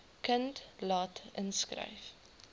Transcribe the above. kind laat inskryf